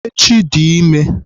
Echi dị ime.